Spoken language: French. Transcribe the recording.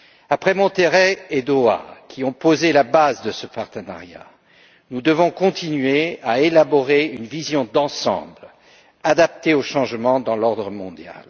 Après Monterrey et Doha, qui ont posé la base de ce partenariat, nous devons continuer à élaborer une vision d'ensemble adaptée au changement dans l'ordre mondial.